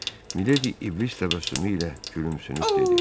Miledi iblis təbəssümü ilə gülümsünüb dedi: